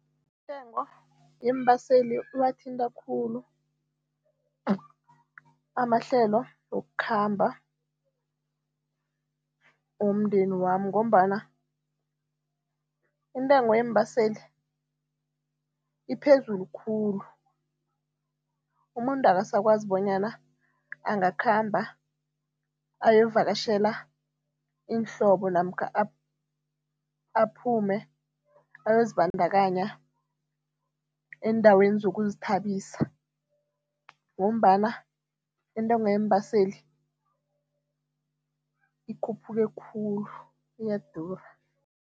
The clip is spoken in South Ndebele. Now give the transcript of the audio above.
Intengo yeembaseli iwathinta khulu amahlelo wokukhamba womndeni wami ngombana intengo yeembaseli iphezulu khulu, umuntu akasakwazi bonyana angakhamba ayovakatjhela iinhlobo namkha aphume ayozibandakanya eendaweni zokuzithabisa ngombana intengo yeembaseli ikhuphuke khulu iyadura.